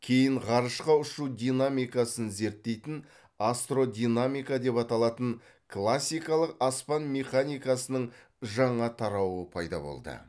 кейін ғарышқа ұшу динамикасын зерттейтін астродинамика деп аталатын классикалық аспан механикасының жаңа тарауы пайда болды